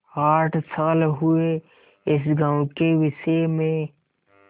आठ साल हुए इस गॉँव के विषय में